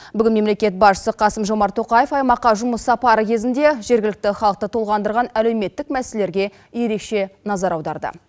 бүгін мемлекет басшысы қасым жомарт тоқаев аймаққа жұмыс сапары кезінде жергілікті халықты толғандырған әлеуметтік мәселелерге ерекше назар аударды